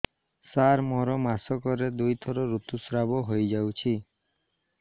ସାର ମୋର ମାସକରେ ଦୁଇଥର ଋତୁସ୍ରାବ ହୋଇଯାଉଛି